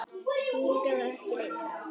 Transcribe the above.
Hingað og ekki lengra.